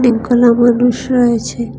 এখন আবার রয়েছে।